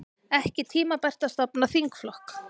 Ekki tímabært að stofna þingflokk